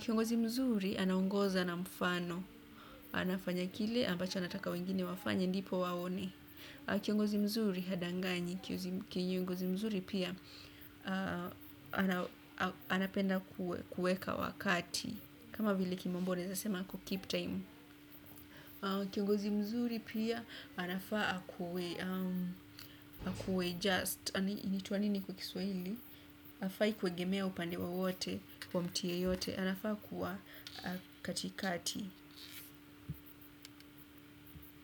Kiongozi mzuri, anaongoza na mfano. Anafanya kile ambacho anataka wengine wafanya ndipo waone. Kiongozi mzuri hadanganyi, kiongozi mzuri pia anapenda kuweka wakati. Kama vile kimombo wanasema ku keep time. Kiongozi mzuri pia anafaa kuwe just, inaitwa nini kwa Kiswahili hafai kuegemea upande wowote kwa mtu yeyote anafaa kuwa katikati.